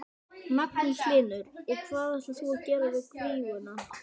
Magnús Hlynur: Og hvað ætlar þú að gera við kvíguna?